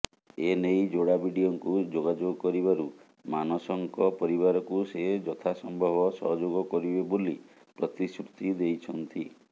ଏନେଇ ଯୋଡା ବିଡିଓଙ୍କୁ ଯୋଗାଯୋଗ କରିବାରୁ ମାନସଙ୍କ ପରିବାରକୁ ସେ ଯଥାସମ୍ଭବ ସହଯୋଗ କରିବେ ବୋଲି ପ୍ରତିଶ୍ରୁତି ଦେଇଛନ୍ତି